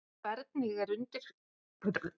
Hvernig er undirbúningstímabilinu háttað hjá ykkur?